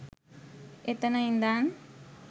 එතන ඉඳන්